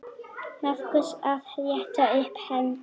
Magnús: Að rétta upp hendi.